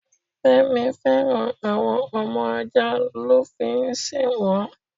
Fẹ́mi féràn àwọn ọmọ ajá lo fi ń sì wọn.